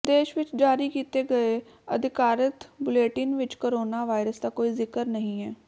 ਦੇਸ਼ ਵਿੱਚ ਜਾਰੀ ਕੀਤੇ ਗਏ ਅਧਿਕਾਰਤ ਬੁਲੇਟਿਨ ਵਿੱਚ ਕੋਰੋਨਾ ਵਾਇਰਸ ਦਾ ਕੋਈ ਜ਼ਿਕਰ ਨਹੀਂ ਹੈ